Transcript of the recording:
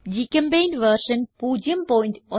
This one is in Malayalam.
ഗ്ചെമ്പെയിന്റ് വെർഷൻ 01210